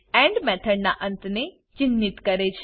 and method ના અંત ને ચિન્હિત કરે છે